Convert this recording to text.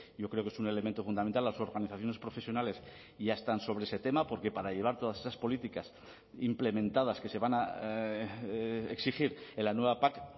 yo creo que es un elemento fundamental las organizaciones profesionales ya están sobre ese tema porque para llevar todas esas políticas implementadas que se van a exigir en la nueva pac